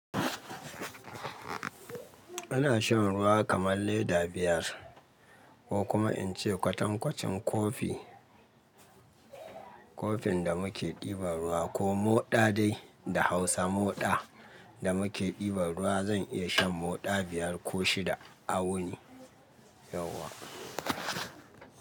Ina shan ruwa kamar leda biyar ko kuma in ce kwatankwacin kofi, kofin da muke diban ruwa ko moɗa dai da Hausa moɗa da muke diban ruwa zan iya shan moɗa biyar ko shida awuni yauwa.